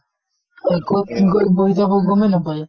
আৰু কʼত গৈ বহি যাব গমে নাপায়।